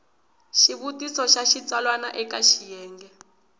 xivutiso xa xitsalwana eka xiyenge